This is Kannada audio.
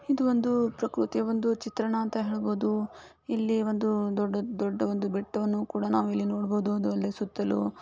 ಇದು ಒಂದು ಪ್ರಕೃತಿಯ ಒಂದು ಚಿತ್ರಣ ಅಂತ ಹೇಳ್ಬೋದು ಇಲ್ಲಿ ಒಂದು ದೊಡ್ಡ ದೊಡ್ಡ ಒಂದು ಬೆಟ್ಟವನ್ನು ಕೂಡ ನಾವು ಇಲ್ಲಿ ನೋಡಬೋದು. ಅದು ಅಲ್ದೆ ಸುತ್ತಲೂ --